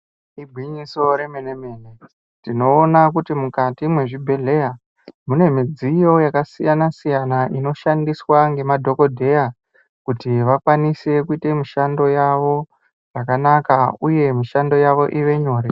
Igwinyiso remenemene tinoona kuti mukati mwezvibhehleya munemudziyo yakasiyana siyana inoshandiswa ngemadhokodheya kuti vakwanise kuita mishando yavo yakanaka uye mishando yavo ite nyore.